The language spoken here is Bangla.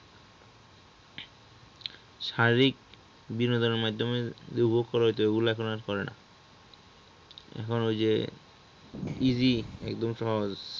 শারীরিক বিনোদনের মাধ্যমে যে উপভোগ করা হইত ওইগুলা এখন আর করে না এখন ই যে easy একদম সহজ